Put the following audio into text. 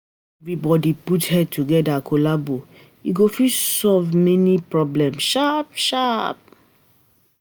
When everybody put head together collabo, we go fit solve um any problem sharp um sharp